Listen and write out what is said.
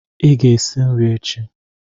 Ị ga-esi nri echi.